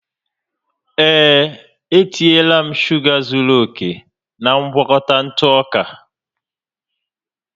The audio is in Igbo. Ee, e tinyela m shuga zuru oke na ngwakọta ntụ ọka